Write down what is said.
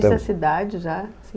dessa idade, já, assim...